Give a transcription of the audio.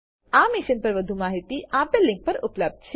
આ મિશન પર વધુ માહિતી નીચે દર્શાવેલ લીંક પર ઉપલબ્ધ છે